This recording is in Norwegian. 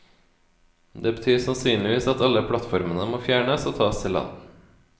Det betyr sannsynligvis at alle plattformene må fjernes og tas til land.